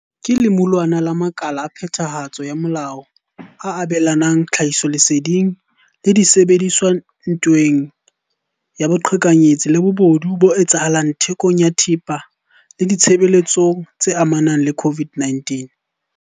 ke lemulwana la makala a phethahatso ya molao a abelanang tlhahisoleseding le disebediswa ntweng ya boqhekanyetsi le bobodu bo etsahalang thekong ya thepa le ditshebeletsong tse amanang le COVID-19.